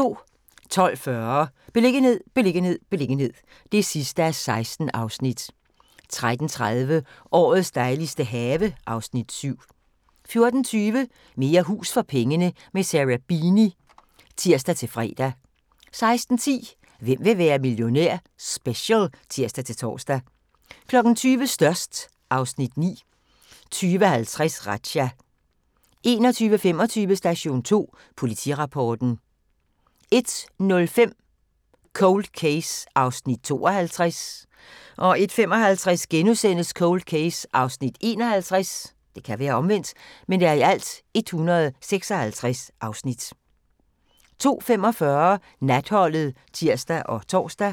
12:40: Beliggenhed, beliggenhed, beliggenhed (16:16) 13:30: Årets dejligste have (Afs. 7) 14:20: Mere hus for pengene – med Sarah Beeny (tir-fre) 16:10: Hvem vil være millionær? Special (tir-tor) 20:00: Størst (Afs. 9) 20:50: Razzia 21:25: Station 2 Politirapporten 01:05: Cold Case (52:156) 01:55: Cold Case (51:156)* 02:45: Natholdet (tir og tor)